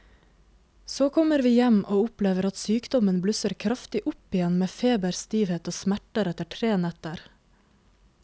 Så kommer vi hjem og opplever at sykdommen blusser kraftig opp igjen med feber, stivhet og smerter etter tre netter.